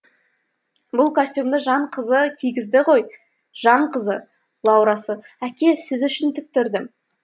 бұл костюмді жан қызы кигізді ғой жан қызы лаурасы әке сіз үшін тіктірдім